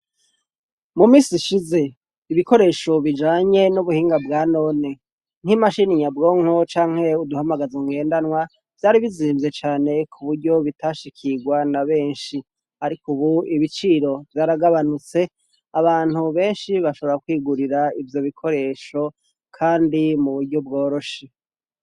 mu minsi ishize ibikoresho bijanye n'ubuhinga bwa none nk'imashini nyabwonko canke uduhamagaza ngendanwa byari bizimvye cane ku buryo bitashikirwa na benshi ariko ubu ibiciro byaragabanutse abantu benshi bashobora kwigurira ibyo bikoresho kandi muburyo bworoshe